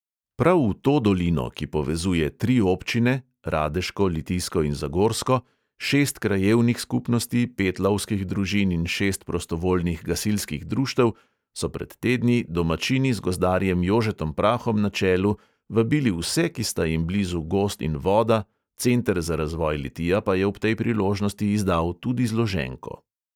Prav v to dolino, ki povezuje tri občine, radeško, litijsko in zagorsko, šest krajevnih skupnosti, pet lovskih družin in šest prostovoljnih gasilskih društev, so pred tedni domačini z gozdarjem jožetom prahom na čelu vabili vse, ki sta jim blizu gozd in voda, center za razvoj litija pa je ob tej priložnosti izdal tudi zloženko.